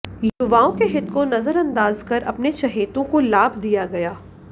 युवाओं के हित को नजरअंदाज कर अपने चहेतों को लाभ दिया गया